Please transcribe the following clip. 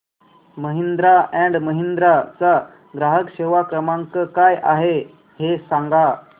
Mahindra and Mahindra चा ग्राहक सेवा क्रमांक काय आहे हे सांगा